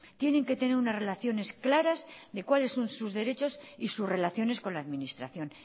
tienen que tener unas relaciones claras de cuáles son sus derechos y sus relaciones con la administración